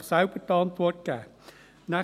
– Sie können sich die Antwort selbst geben.